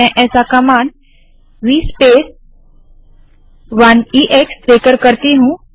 मैं ऐसा v space command - 1 EX देकर करती हूँ